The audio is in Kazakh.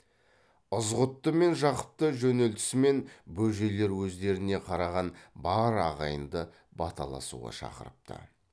ызғұтты мен жақыпты жөнелтісімен бөжейлер өздеріне қараған бар ағайынды баталасуға шақырыпты